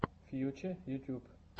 фьюче ютюб